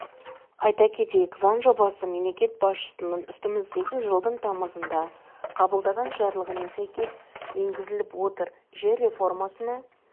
айта кетейік заң жобасы мемлекет басшысының үстіміздегі жылдың тамызында қабылдаған жарлығына сәйкес енгізіліп отыр жер реформасына